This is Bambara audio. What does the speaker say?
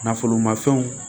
Nafolo ma fɛnw